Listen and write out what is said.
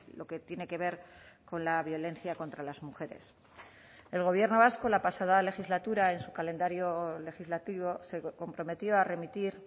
lo que tiene que ver con la violencia contra las mujeres el gobierno vasco la pasada legislatura en su calendario legislativo se comprometió a remitir